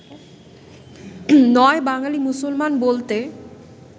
৯ বাঙালী মুসলমান বলতে